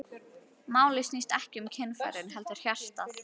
Málið snýst ekki um kynfærin heldur hjartað.